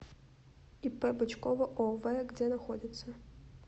ип бычкова ов где находится